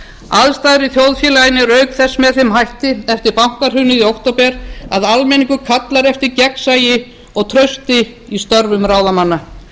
aðstæður í þjóðfélaginu eru auk þess með þeim hætti eftir bankahrunið í október að almenningur kallar eftir gegnsæi og trausti í störfum ráðamanna